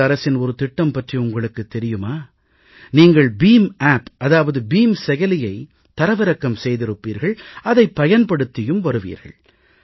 பாரத அரசின் ஒரு திட்டம் பற்றி உங்களுக்குத் தெரியுமா நீங்கள் பிம் ஆப் அதாவது பீம் செயலியை தரவிறக்கம் செய்திருப்பீர்கள் அதைப் பயன்படுத்தியும் வருவீர்கள்